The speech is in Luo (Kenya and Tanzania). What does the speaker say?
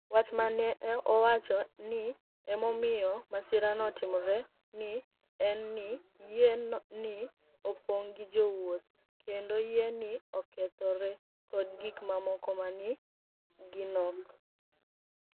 Wach ma ni e owach nii ni e omiyo masirano otimore ni e eni nii yie ni e oponig ' gi jowuoth, kenido yie ni e okethore, kod gik mamoko ma ni e ginok.